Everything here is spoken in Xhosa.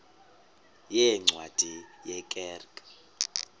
yeencwadi ye kerk